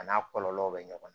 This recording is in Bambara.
A n'a kɔlɔlɔw bɛ ɲɔgɔn na